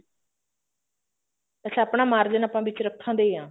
ਅੱਛਾ ਆਪਣਾ ਮਾਰਜਨ ਆਪਾਂ ਵਿੱਚ ਰੱਖਦੇ ਆ